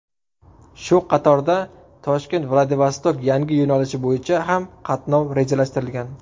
Shu qatorda ToshkentVladivostok yangi yo‘nalishi bo‘yicha ham qatnov rejalashtirilgan.